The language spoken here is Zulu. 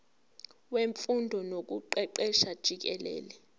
wemfundo nokuqeqesha jikelele